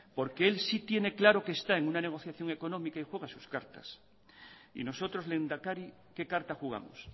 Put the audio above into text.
porque él sí tiene claro que está en una negociación económica y juega sus cartas y nosotros lehendakari qué carta jugamos